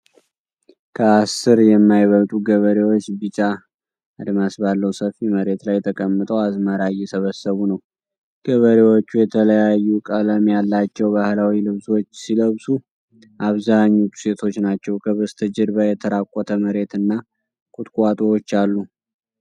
ከአስር የማይበልጡ ገበሬዎች ቢጫ አድማስ ባለው ሰፊ መሬት ላይ ተቀምጠው አዝመራ እየሰበሰቡ ነው። ገበሬዎቹ የተለያዩ ቀለም ያላቸው ባህላዊ ልብሶች ሲለብሱ፣ አብዛኞቹ ሴቶች ናቸው። ከበስተጀርባ የተራቆተ መሬት እና ቁጥቋጦዎች አሉ።